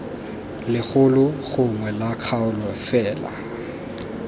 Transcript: legolo gongwe la kgaolo fela